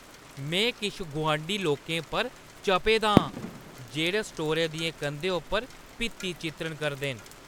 में किश गुआंढी लोकें उप्पर चपे दा आं जेह्ड़े स्टोरै दियें कंधें उप्पर भित्ति-चित्रण करदे न।